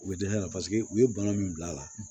U bɛ dɛsɛ ala paseke u ye bana min bila a la